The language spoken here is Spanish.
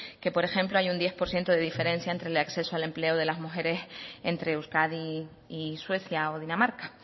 que por ejemplo hay un diez por ciento de diferencia entre el acceso al empleo de las mujeres entre euskadi y suecia o dinamarca